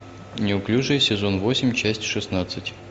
неуклюжие сезон восемь часть шестнадцать